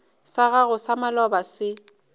sa gago sa maloba se